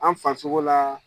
An fan sogo la